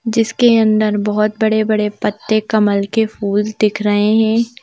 जिसके अंदर बहुत बड़े-बड़े पत्ते कमल के फूल दिख रहे हैं।